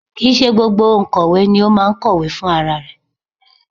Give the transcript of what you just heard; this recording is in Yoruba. Kì í ṣe gbogbo òǹkọ̀wé ni ó máa ń kọ̀wé fún rarẹ̀